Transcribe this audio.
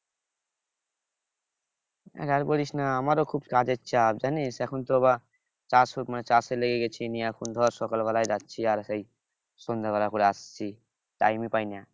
আর বলিস না আমারও খুব কাজের চাপ জানিস এখন তো আবার মানে চাষে লেগে গেছে এখন ধর সকালবেলায় যাচ্ছি আর সেই সন্ধ্যাবেলা করে আসছি time ই পাই না